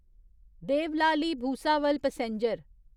Deolali Bhusawal passenger